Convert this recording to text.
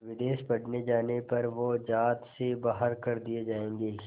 विदेश पढ़ने जाने पर वो ज़ात से बाहर कर दिए जाएंगे